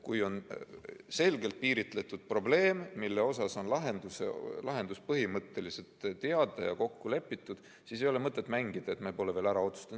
Kui on selgelt piiritletud probleem, mille lahendus põhimõtteliselt on teada ja kokku lepitud, siis ei ole mõtet mängida, et me pole veel ära otsustanud.